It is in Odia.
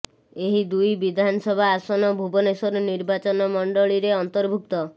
ଏହି ଦୁଇ ବିଧାନସଭା ଆସନ ଭୁବନେଶ୍ୱର ନିର୍ବାଚନ ମଣ୍ଡଳୀରେ ଅନ୍ତର୍ଭୁକ୍ତ